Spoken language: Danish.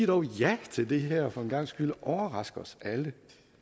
dog ja til det her for en gangs skyld overrask os alle